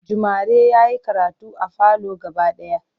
Jumare yayi karatu a falo gaba daya